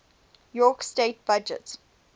york state budget